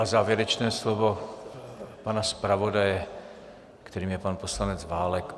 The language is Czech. A závěrečné slovo pana zpravodaje, kterým je pan poslanec Válek.